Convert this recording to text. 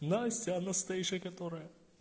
настя анастейша которая